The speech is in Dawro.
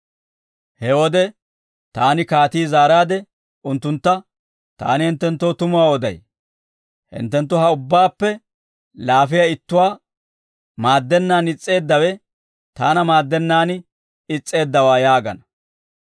«He wode taani kaatii zaaraade unttuntta, ‹Taani hinttenttoo tumuwaa oday; hinttenttu ha ubbaappe laafiyaa ittuwaa maaddennaan is's'eeddawe, taana maaddennaan is's'eeddawaa› yaagana.